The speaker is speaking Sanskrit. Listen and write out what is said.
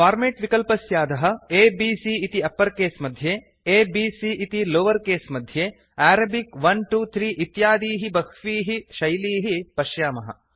फॉर्मेट् विकल्पस्याधः A B C इति अप्पर् केस् मध्ये a b c इति लोवर् केस् मध्ये अरेबिक 1 2 3 इत्यादीः बह्वीः शैलीः पश्यामः